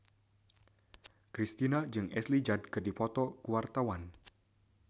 Kristina jeung Ashley Judd keur dipoto ku wartawan